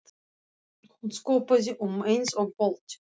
Hún skoppaði um eins og bolti.